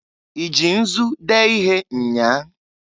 I ji nzu dee ihe nnyaa?